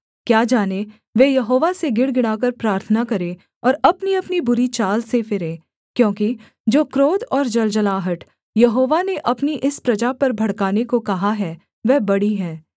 क्या जाने वे यहोवा से गिड़गिड़ाकर प्रार्थना करें और अपनीअपनी बुरी चाल से फिरें क्योंकि जो क्रोध और जलजलाहट यहोवा ने अपनी इस प्रजा पर भड़काने को कहा है वह बड़ी है